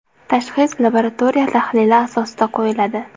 Tashxis labaratoriya tahlili asosida qo‘yiladi.